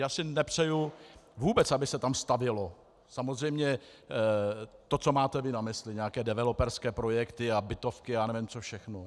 Já si nepřeju vůbec, aby se tam stavělo samozřejmě to, co máte vy na mysli, nějaké developerské projekty, bytovky a já nevím co všechno.